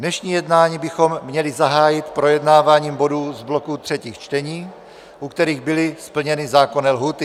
Dnešní jednání bychom měli zahájit projednáváním bodů z bloku třetích čtení, u kterých byly splněny zákonné lhůty.